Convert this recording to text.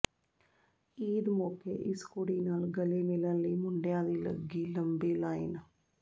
ਈਦ ਮੌਕੇ ਇਸ ਕੁੜੀ ਨਾਲ ਗਲੇ ਮਿਲਣ ਲਈ ਮੁੰਡਿਆਂ ਦੀ ਲੱਗੀ ਲੰਬੀ ਲਾਈਨ